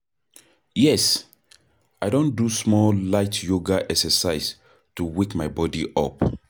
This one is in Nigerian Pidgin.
Yes, i don do some light yoga exercise to wake my body up.